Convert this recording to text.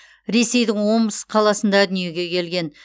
ресейдің омск қаласында дүниеге келген